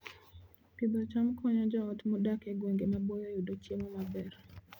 Pidho cham konyo joot modak e gwenge maboyo yudo chiemo maber